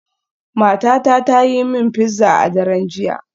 Matata ta yi mini pizza a daren jiya.